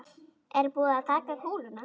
Er búið að taka kúluna?